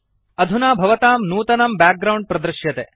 अधुना भवतां नूतनं बैकग्राउण्ड प्रदृश्यते